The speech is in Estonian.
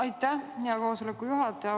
Aitäh, hea koosoleku juhataja!